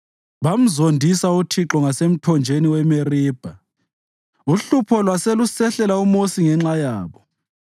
Bamzondisa uThixo ngasemthonjeni weMeribha, uhlupho lwase lusehlela uMosi ngenxa yabo;